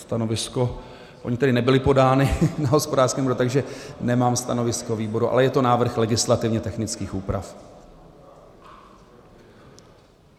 Stanovisko, ona tedy nebyla podána na hospodářském výboru, takže nemám stanovisko výboru, ale je to návrh legislativně technických úprav.